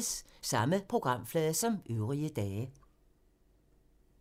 Samme programflade som øvrige dage